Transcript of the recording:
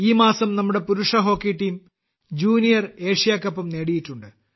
ഈ മാസം നമ്മുടെ പുരുഷ ഹോക്കി ടീം ജൂനിയർ ഏഷ്യാ കപ്പും നേടിയിട്ടുണ്ട്